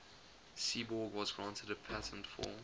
seaborg was granted a patent for